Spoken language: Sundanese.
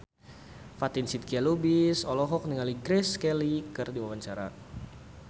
Fatin Shidqia Lubis olohok ningali Grace Kelly keur diwawancara